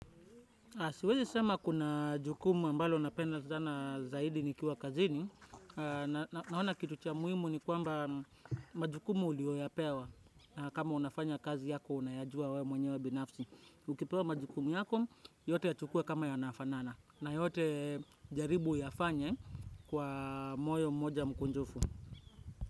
Siwezi sema kuna jukumu ambalo napendal zana zaidi nikiwa kazini. Nahona kitu cha muhimu ni kwamba majukumu ulioyapewa. Na kama unafanya kazi yako unayajua wewe mwenyewe binafsi. Ukipewa majukumu yako, yote yachukue kama yanafanana. Na yote jaribu yafanye kwa moyo mmoja mkunjufu.